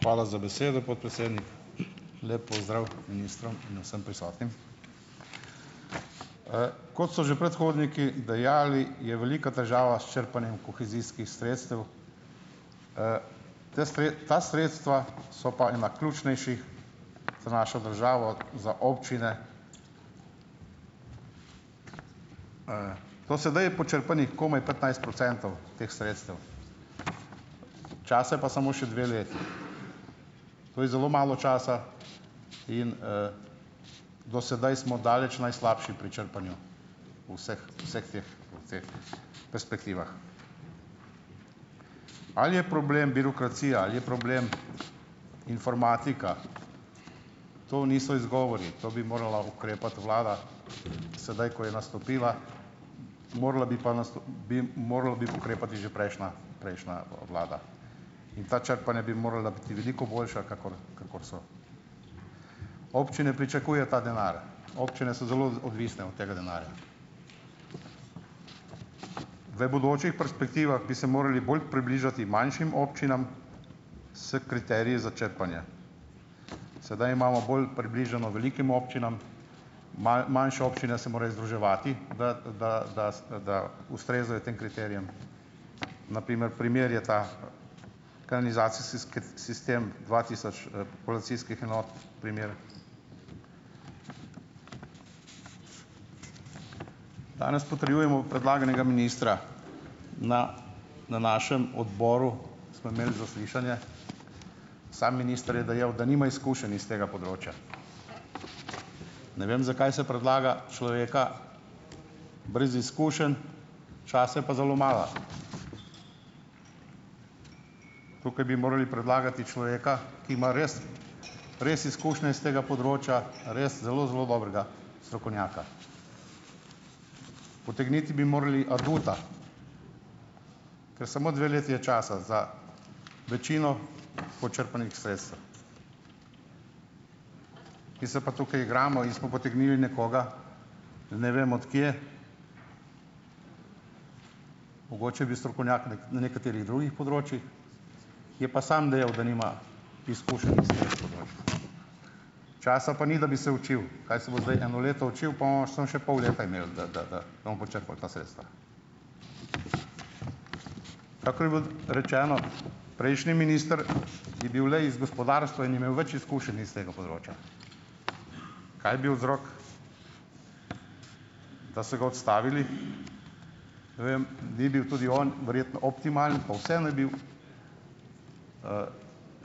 Hvala za besedo, podpredsednik. Lep pozdrav ministrom in vsem prisotnim. Kot so že predhodniki dejali, je velika težava s črpanjem kohezijskih sredstev. Te ta sredstva so pa ena ključnejših za našo državo, za občine. Do sedaj je počrpanih komaj petnajst procentov teh sredstev, časa je pa samo še dve leti. To je zelo malo časa in, do sedaj smo daleč najslabši pri črpanju v vseh, vseh teh v teh perspektivah. Ali je problem birokracija ali je problem informatika, to niso izgovori, to bi morala ukrepati vlada sedaj, ko je nastopila, morala bi pa bi morala bi ukrepati že prejšnja, prejšnja vlada. In ta črpanja bi morala biti veliko boljša, kakor, kakor so. Občine pričakujejo ta denar, občine so zelo odvisne od tega denarja. V bodočih perspektivah bi se morali bolj približati manjšim občinam s kriteriji za črpanje. Sedaj imamo bolj približano velikim občinam, manjše občine se morajo združevati, da, da, da s, da ustrezajo tem kriterijem. Na primer, primer je ta kanizacijseski sistem dva tisoč, polacijskih enot, primer. Danes potrjujemo predlaganega ministra. Na na našem odboru smo imeli zaslišanje. Sam minister je dejal, da nima izkušenj iz tega področja. Ne vem, zakaj se predlaga človeka brez izkušenj, časa je pa zelo malo. Tukaj bi morali predlagati človeka, ki ima res res izkušnje iz tega področja, res zelo, zelo dobrega strokovnjaka. Potegniti bi morali aduta, ker samo dve leti je časa za večino počrpanih sredstev. Mi se pa tukaj igramo in smo potegnili nekoga ne vem od kje, mogoče je bil strokovnjak, ne, na nekaterih drugih področjih, je pa sam dejal, da nima izkušenj s tega področja. Časa pa ni, da bi se učil. Kaj se bo zdaj eno leto učil, po bomo samo še pol leta imeli, da, da, da, da bomo počrpali ta sredstva. Kakor je bilo rečeno, prejšnji minister je bil le iz gospodarstva in je imel več izkušenj iz tega področja. Kaj je bil vzrok, da so ga odstavili? Ne vem, ni bil tudi on verjetno optimalen, pa vseeno je bil,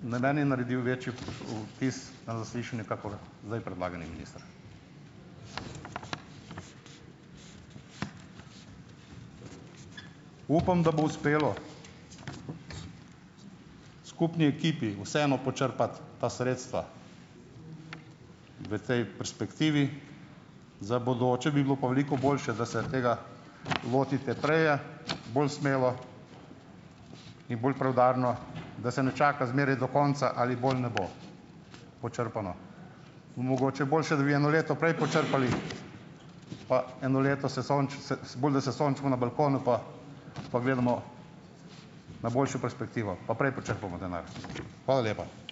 na mene je naredil večji vtis na zaslišanju kakor zdaj predlagani minister. Upam, da bo uspelo skupni ekipi vseeno počrpati ta sredstva v tej perspektivi, za bodoče bi pa bilo pa veliko boljše, da se tega lotite preje, bolj smelo in bolj preudarno, da se ne čaka zmeraj do konca, ali bo ali ne bo počrpano, in mogoče boljše, da bi eno leto prej počrpali, pa eno leto se se, se bolj, da se sončimo na balkonu pa pa gledamo na boljšo perspektivo pa prej počrpamo denar. Hvala lepa.